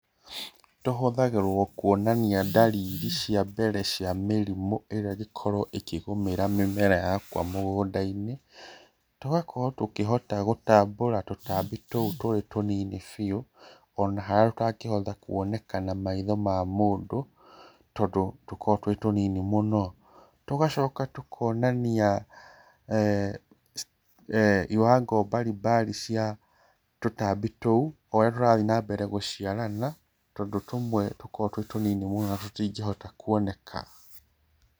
Tũhũthagĩrwo kuonania ndariri cia mbere cia mĩrimũ ĩrĩa ĩngĩkorwo ĩkĩgũmĩra mĩmera yakwa mũgũnda-inĩ. Tũkahota gũkorwo tũgĩ tambũra tũtambi tũtũ tũrĩ tũ nini biũ ona harĩa tũtangĩhota kuoneka na maitho ma mũndũ tondũ tũkoragwo twĩ tũnini mũno. Tũgacoka tũkonania iwango mbarimbari cia tũtambi tũu ũria tũrathiĩ na mbere gũciarana, tondũ tũmwe tũkoragwo twĩ tũ nini mũno na tũ tingĩhota kuoneka.